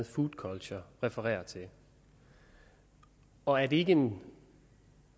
food culture refererer til og er det ikke en